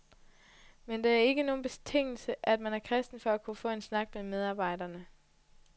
Men det er ikke nogen betingelse, at man er kristen for at kunne få en snak med medarbejderne.